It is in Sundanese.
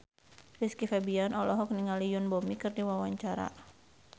Rizky Febian olohok ningali Yoon Bomi keur diwawancara